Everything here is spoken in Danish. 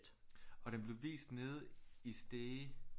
Og den blev vist nede i Stege